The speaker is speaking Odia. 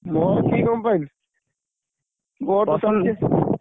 ମୋର କି company